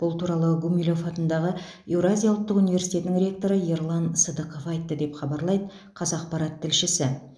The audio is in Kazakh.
бұл туралы гумилев атындағы еуразия ұлттық университетінің ректоры ерлан сыдықов айтты деп хабарлайды қазақпарат тілшісі